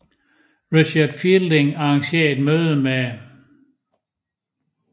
Richard Fielding arrangerer et møde med dr